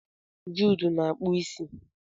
Jude na akpu isi.